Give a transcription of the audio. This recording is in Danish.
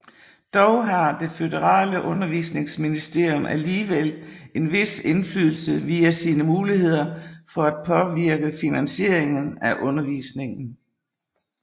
Dog har det føderale undervisningsministerium alligevel en vis indflydelse via sine muligheder for at påvirke finansieringen af undervisningen